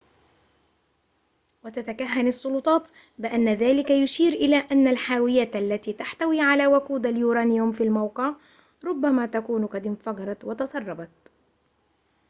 وتتكهن السلطات بأن ذلك يشير إلى أن الحاويات التي تحتوي على وقود اليورانيوم في الموقع ربما تكون قد انفجرت وتسربت